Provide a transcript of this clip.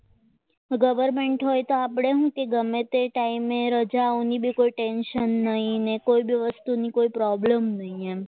government હોય તો આપણે શું ગમે તે ટાઈમે રજાઓની ટેન્શન નહીં અને કોઇબી વસ્તુની કોઈ પ્રોબ્લેમ નહીં એમ